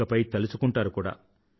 ఇకపై తలుచుకుంటారు కూడా